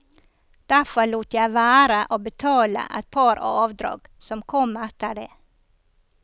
Derfor lot jeg være å betale et par avdrag som kom etter det.